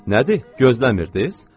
Nədir, gözləmirdiz?